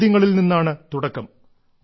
ചോദ്യത്തിൽ നിന്നാണ് തുടക്കം